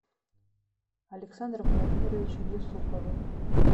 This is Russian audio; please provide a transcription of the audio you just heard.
александром владимировичем юсуповым